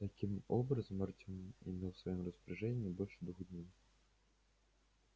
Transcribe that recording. таким образом артем имел в своём распоряжении не больше двух дней